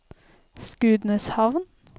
Skudeneshavn